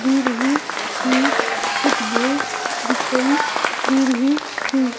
दे रहे हैं कुछ घर दिखाई दे रहे हैं.